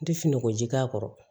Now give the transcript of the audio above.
N tɛ fin ko ji k'a kɔrɔ